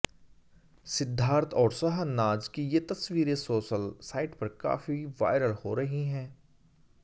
सिद्धार्थ और शहनाज की ये तस्वीरें सोशल साइट पर काफी वायरल हो रही हैं